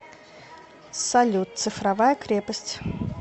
салют цифровая крепость